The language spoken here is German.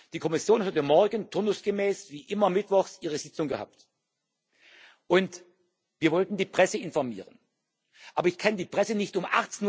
es? Die Kommission hat heute Morgen turnusgemäß wie immer mittwochs ihre Sitzung gehabt, und wir wollten die Presse informieren. Aber ich kann die Presse nicht